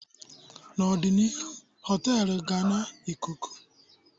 n'ọdịnihu họtelu ga-na Ịkụku